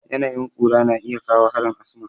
Yanayin ƙura na iya kawo harin asma.